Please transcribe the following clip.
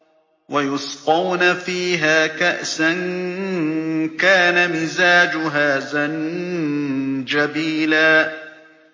وَيُسْقَوْنَ فِيهَا كَأْسًا كَانَ مِزَاجُهَا زَنجَبِيلًا